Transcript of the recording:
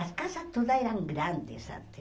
As casas todas eram grandes antes.